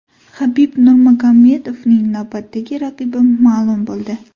Habib Nurmagomedovning navbatdagi raqibi ma’lum bo‘ldi.